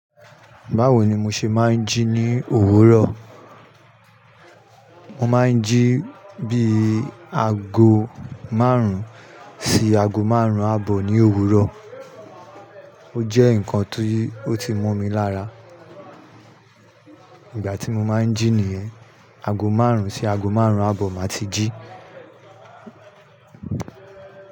Bawo ni mo ṣe máa ń jí ní òwúrọ̀? Mo máa ń jí bí i ago márùn-ún sí ago márùn-ún àbọ̀ ní òwúrọ̀. O jẹ́ nǹkan tó ti mo mi lára. Ìgbà tí mo máa ń jí nìyẹn, ago márùn-ún sí ago márùn-ún àbọ̀ màá ti jí.